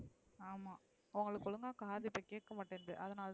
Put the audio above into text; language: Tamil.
ஆமா உங்களுக்கு ஒழுங்கா காது இப்ப கேகமாடித்துஅதுனால தான்,